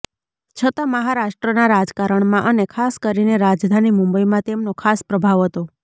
છતાં મહારાષ્ટ્રના રાજકારણમાં અને ખાસ કરીને રાજધાની મુંબઈમાં તેમનો ખાસ પ્રભાવ હતો